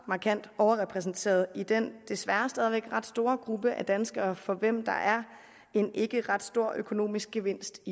markant overrepræsenteret i den desværre stadig væk ret store gruppe af danskere for hvem der er en ikke ret stor økonomisk gevinst